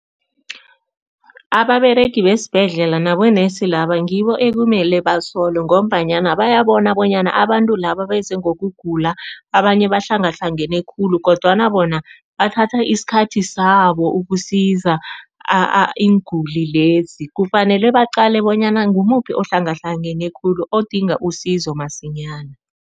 Ababeregi besibhedlela nabonesi laba ngibo ekumele basolwe ngombanyana bayabona bonyana abantu laba beze ngokugula, abanye bahlangahlangene khulu kodwa bona bathatha isikhathi sabo ukusiza iinguli lezi. Kufanele baqale bonyana ngimuphi ohlangahlangane khulu odinga usizo masinyana.